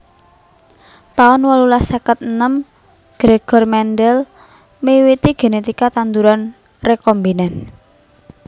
taun wolulas seket enem Gregor Mendel miwiti genetika tanduran rekombinan